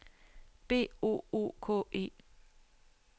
B O O K E